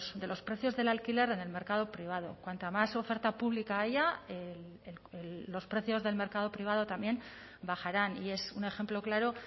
de los precios del alquiler en el mercado privado cuanta más oferta pública haya los precios del mercado privado también bajarán y es un ejemplo claro